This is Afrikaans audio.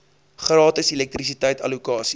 gratis elektrisiteit allokasie